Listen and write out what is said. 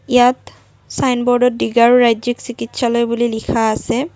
ইয়াত ছাইনবোৰ্ড ত ডিগৰু ৰাজ্যিক চিকিৎসালয় বুলি লিখা আছে।